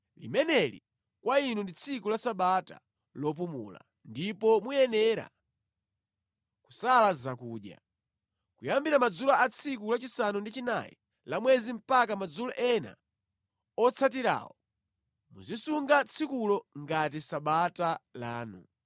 Limeneli kwa inu ndi tsiku la Sabata lopumula, ndipo muyenera kusala zakudya. Kuyambira madzulo a tsiku lachisanu ndi chinayi la mwezi mpaka madzulo ena otsatirawo muzisunga tsikulo ngati Sabata lanu.”